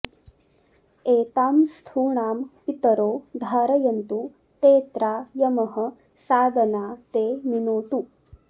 एतां स्थूणां पितरो धारयन्तु तेऽत्रा यमः सादना ते मिनोतु